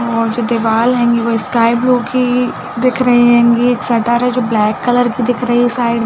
और जो दिवाल हैंगी वो स्काई ब्लू की दिख रही हैंगी एक शटर हैं जो ब्लैक कलर दिख रही है साइड मे--